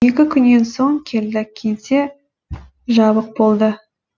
екі күннен соң келдік кеңсе жабық болды